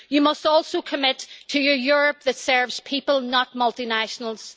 You must also commit to a Europe that serves people, not multinationals.